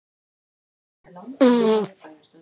Skógar Japans